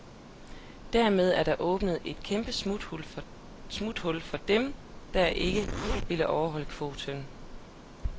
Dermed er der åbnet et kæmpe smuthul for dem, der ikke vil overholde kvoten.